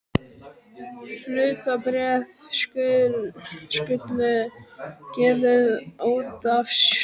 Hlutabréf skulu gefin út af stjórn.